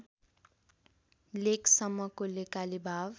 लेकसम्मको लेकाली भाग